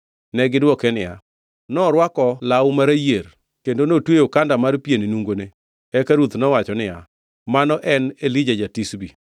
Negidwoke niya, “Norwako law ma rayier, kendo notweyo okanda mar pien e nungone.” Eka ruoth nowacho niya, “Mano ne en Elija ja-Tishbi.”